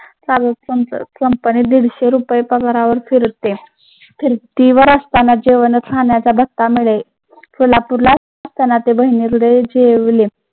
कंपनीत दीडशे रुपये पगारावर जेवण खाण्याचा भत्ता मिळेल कोल्हापुरलाच